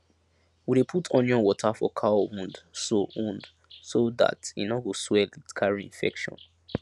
we dey put onion water for cow wound so wound so dat e no go swell it carry infection